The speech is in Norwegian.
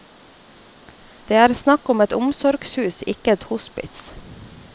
Det er snakk om et omsorgshus, ikke et hospits.